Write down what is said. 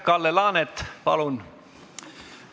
Kalle Laanet, palun!